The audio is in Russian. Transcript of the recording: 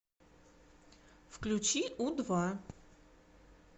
включи у два